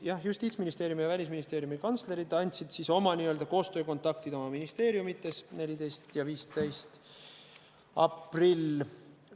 Ja Justiitsministeeriumi ja Välisministeeriumi kantsler andsid oma n-ö koostöökontaktid oma ministeeriumides 14. ja 15. aprillil.